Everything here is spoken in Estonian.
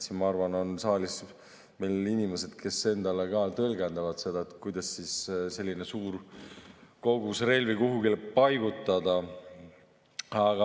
Ma arvan, et saalis on meil inimesed, kes ka oskavad tõlgendada seda, kuidas selline suur kogus relvi kuhugi paigutada.